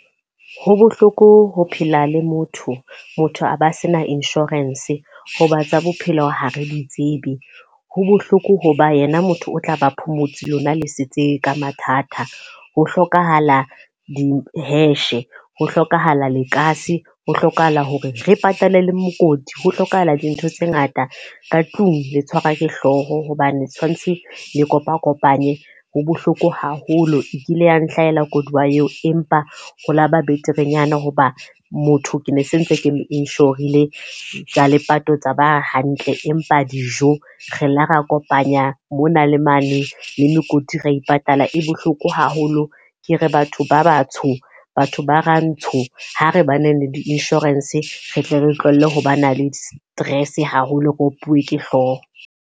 Ho bohloko ho phela le motho, motho a ba se na insurance. Ho ba tsa bophelo ha re ditsebe. Ho bohloko ho ba yena motho o tla ba phomotse, lona le setse ka mathata. Ho hlokahala di-hash, ho hlokahala lekase, ho hlokahala hore re patale le mokoti, ho hlokahala dintho tse ngata ka tlung le tshwarwa ke hlooho. Hobane tshwantshe le kopa kopanye ho bohloko haholo. E kile ya nhlahela koduwa eo, empa ha laba beterenyana hoba motho ke ne se ntse ke inshorile, tsa lepato tsa ba hantle. Empa dijo, re la ra kopanya mona le mane le mekoti ra ipatala. E bohloko haholo ke re batho ba batsho, batho ba Rantsho ha re ba nang le di-insurance re tle re tlohelle ho ba na le stress haholo re opuwe ke hlooho.